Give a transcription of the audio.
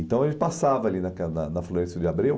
Então, ele passava ali naque na na Florêncio de Abreu.